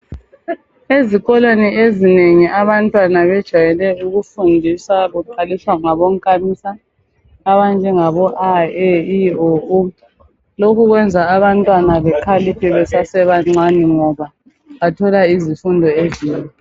Ezikoleni ezinengi abantwana bajwayele ukufundiswa kuqaliswa ngabonkamisa abanjengo, a e i o u. Lokhu kwenza abantwana bekhaliphe besebancane ngoba bathola izifundo ezinengi.